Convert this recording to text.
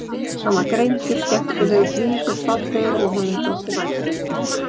Hann var greindur, skemmtilegur, blíður, fallegur og honum þótti vænt um mig.